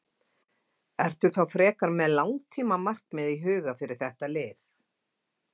Ertu þá frekar með langtíma markmið í huga fyrir þetta lið?